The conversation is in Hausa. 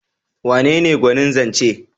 Wanene gwanin zance?